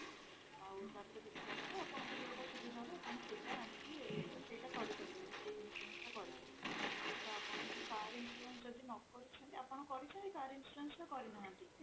ଆଉ ତାପରେ ଦେଖିଲା ପରେ ଆପଣଙ୍କୁ ଯଉଟା ସୁବିଧା ହବ ଆପଣ ସେଇଟା ଆଣିକି ସେଇଟା କରିପାରିବେ ସେଇ insurance ଟା କରିପାରିବେ ତ ଆପଣଙ୍କୁ car insurance ଯଦି ନ କରିଛନ୍ତି ଆପଣ କରିଛନ୍ତି car insurance ନା କରିନାହାନ୍ତି ?